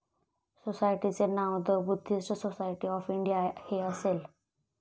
सोसायटीचे नाव the Buddhist society of India हे असेल.